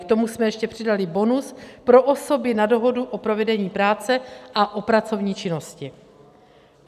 K tomu jsme ještě přidali bonus pro osoby na dohodu o provedení práce a o pracovní činnosti.